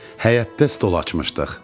Həyətdə stol açmışdıq.